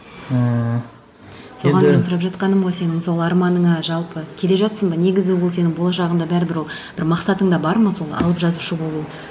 ыыы соған мен сұрап жатқаным ғой сенің сол арманыңа жалпы келе жатырсың ба негізі ол сенің болашағыңда бәрібір ол бір мақсатыңда бар ма сол алып жазушы болу